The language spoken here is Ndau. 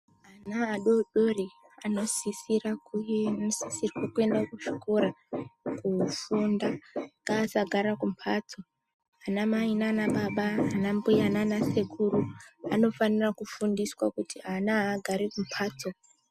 Ana adori anosisirwa kuenda kuchikora kofunda. Ngaasagara kumbatso. Ana mai nanababa, ana mbuya nanasekuru anofanira kufundiswa kuti ana haagari kumbatso.